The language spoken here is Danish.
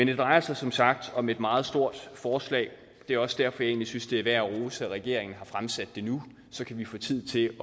det drejer sig som sagt om et meget stort forslag det er også derfor jeg egentlig synes det er værd at rose at regeringen har fremsat det nu så kan vi få tid til